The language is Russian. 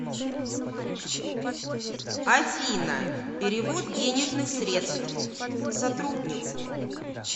афина перевод денежных средств сотруднику